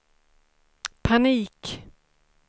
panik